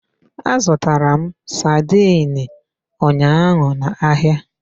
Azụtara m sardine ụnyaahụ n'ahịa.